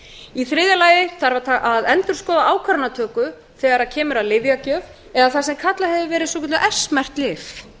í þriðja lagi þarf að endurskoða ákvarðanatöku þegar kemur að lyfjagjöf eða það sem kallað hefur verið s merkt lyf